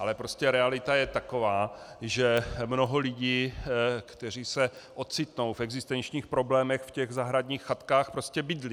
Ale prostě realita je taková, že mnoho lidí, kteří se ocitnou v existenčních problémech, v těch zahradních chatkách prostě bydlí.